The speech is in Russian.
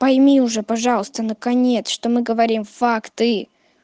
пойми уже пожалуйста наконец что мы говорим факты